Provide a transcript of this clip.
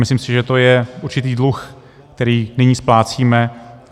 Myslím si, že to je určitý dluh, který nyní splácíme.